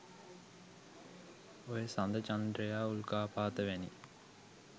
ඔය සඳ චන්ද්‍රයා උල්කාපාත වැනි